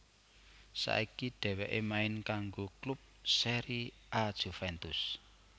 Saiki dhewekè main kanggo klub Serie A Juventus